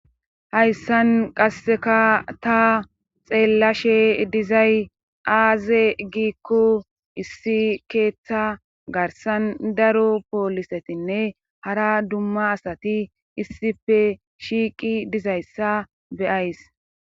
hayssan qasseka ta xeellashe dizay aaze giikko issi keeththa garsan daro poolisetinne hara dumma asati issife shiiqi dizayssa beyays